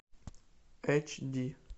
эч ди